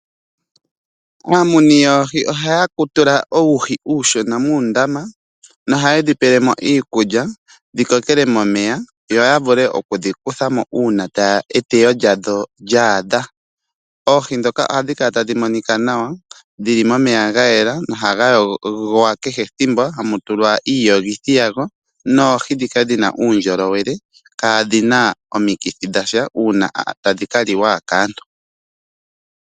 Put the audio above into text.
Aamuni yoohi ohaya tula uuhi uushona muundama noha ye dhipelemo iikulya dhi kokele momeya yo yavule okudhikutha mo uuna eteyo lyadho lyaadha. Oohi ndhoka ohadhi kala tadhi monika nawa dhi li momeya ga yela nohaga yogwa kehe ethimbo hamu tulwa iiyogithi yago noohi ndhoka dhina uundjolowele kaadhina omikithi dhasha uuna tadhi ka liwa kaantu.